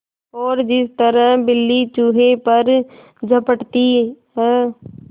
और जिस तरह बिल्ली चूहे पर झपटती है